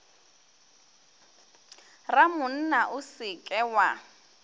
ramonna o se ke wa